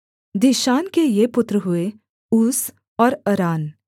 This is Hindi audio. दीशान के ये पुत्र हुए ऊस और अरान